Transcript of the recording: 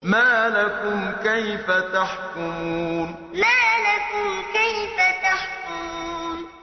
مَا لَكُمْ كَيْفَ تَحْكُمُونَ مَا لَكُمْ كَيْفَ تَحْكُمُونَ